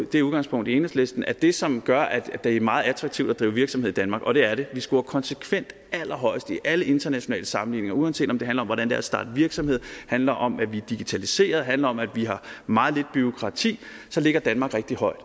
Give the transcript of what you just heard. det udgangspunkt i enhedslisten at det som gør at det er meget attraktivt at drive virksomhed i danmark og det er det vi scorer konsekvent allerhøjest i alle internationale sammenligninger og uanset om det handler om hvordan det er at starte virksomhed handler om at vi digitaliserer handler om at vi har meget lidt bureaukrati så ligger danmark rigtig højt